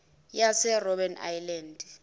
yase robben island